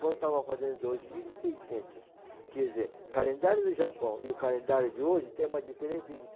quando estava fazendo dois mil e seiscentos. Quer dizer, o calendário do Japão e o calendário de hoje tem uma diferença de